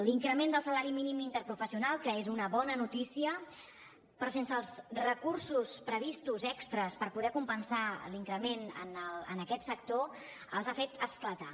l’increment del salari mínim interprofessional que és una bona notícia però sense els recursos previstos extres per poder compensar l’increment en aquest sector els ha fet esclatar